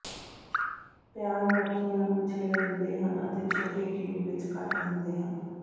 ਪਿਆਜ਼ ਮੱਖੀਆਂ ਨੂੰ ਛਿੱਲ ਦਿੰਦੇ ਹਨ ਅਤੇ ਛੋਟੇ ਕਿਊਬ ਵਿਚ ਕੱਟ ਦਿੰਦੇ ਹਨ